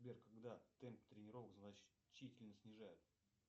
сбер когда темп тренировок значительно снижает